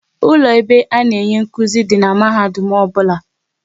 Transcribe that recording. Ụlọ ebe a na-enye nkụzi dị n'mahadum ọbụla